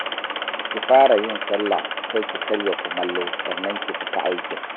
Ki fara yin sallah, sai ki karya kumallo, sannan ki fita aikin